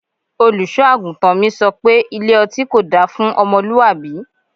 Olùṣọ́-àgùntàn mi sọ pé Ilé ọtí kò da fún ọmọlúwàbí.